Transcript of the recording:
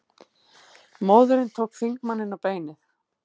Móðirin tók þingmanninn á beinið